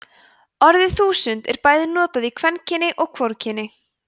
orðið þúsund er bæði notað í kvenkyni og hvorugkyni